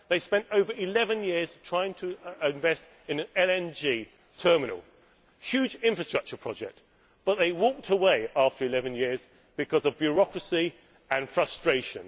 They spent over 11 years trying to invest in an LNG terminal a huge infrastructure project, but they walked away after 11 years because of bureaucracy and frustration.